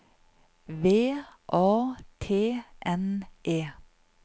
V A T N E